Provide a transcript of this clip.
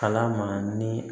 Kalan ma ni